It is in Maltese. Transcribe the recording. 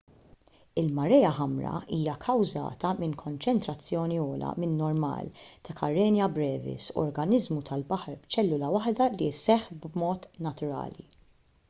il-marea ħamra hija kkawżata minn konċentrazzjoni ogħla min-normal ta' karenia brevis organiżmu tal-baħar b'ċellula waħda li jseħħ b'mod naturali